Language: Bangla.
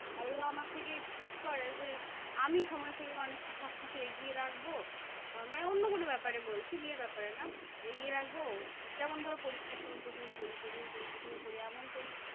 আর এরা আমার থেকে expect করে যে, আমি সময় থেকে অনেক সবকিছু এগিয়ে রাখবো। মানে অন্য কোনো ব্যাপারে বলছি বিয়ের ব্যাপারে না এগিয়ে রাখবো। যেমন ধরো পরীক্ষার সময় প্রচুর পড়ি প্রচুর পড়ি প্রচুর পড়ি এমন পড়ি